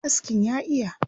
Mai askin ya iya.